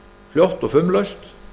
fljótt og fumlaust